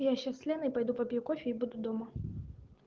я сейчас с леной пойду попью кофе и буду дома